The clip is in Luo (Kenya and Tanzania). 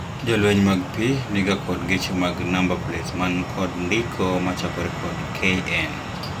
Jolweny mag pii ni ga kod geche mag namba plets man kod ndiko machakore kod KN